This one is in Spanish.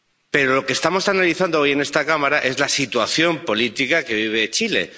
Pero lo que estamos analizando hoy en esta Cámara es la situación política que vive Chile.